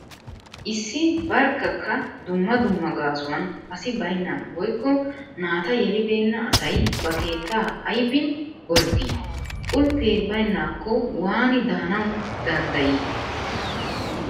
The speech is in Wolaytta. Issi barkkakka dumma dumma gaasuwan asi baynnan woykko naata yelibeenna asay ba keettaa aybi gorddi? Qulppee baynnaakko waani daanawu danddayi?